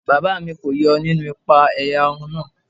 Bàbá mi kó yọ nínú ìpa-ẹ̀yà run náà.